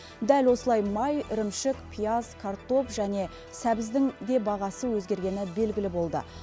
дәл осылай май ірімшік пияз картоп және сәбіздің де бағасы өзгергені белгілі болды